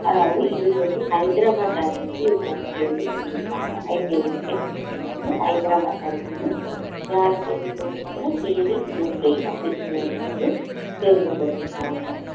அதாவது இதுக்கு வந்து ஹைதராபாத் அணி வந்து இவங்க வந்து தேர்வு செஞ்சிருக்காங்க IPL cricket match ல வந்து ஹைதராபாத் அணி வந்து யாரை தேர்வு பண்ணிருக்காங்க அப்படிங்கற வந்து தேர்வு பண்ணிர்கறாங்க